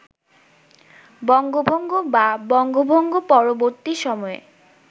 বঙ্গভঙ্গ বা বঙ্গভঙ্গ-পরবর্তী সময়ে